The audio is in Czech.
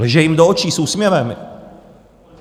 Lže jim do očí, s úsměvem.